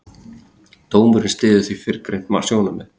Dómurinn styður því fyrrgreind sjónarmið.